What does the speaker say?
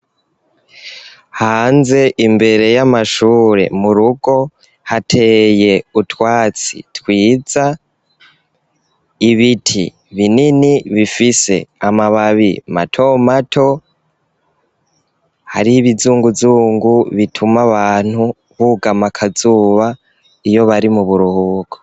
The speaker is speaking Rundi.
Hanze imbere yamashure murugo hateye utwatsi twiza ibiti binini, bifise amababi matomato hari ibizunguzungu, bituma abantu bugama akazuba iyo bari muburuhuko.